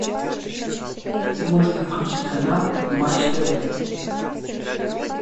можно включить канал матч тв